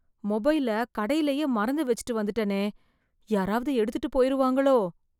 மொபைல கடையிலயே மறந்து வெச்சுட்டு வந்துட்டனே, யாராவது எடுத்துட்டு போயிருவாங்களோ?